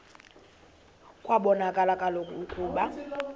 kwabonakala kaloku ukuba